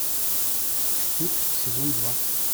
стыд сезон два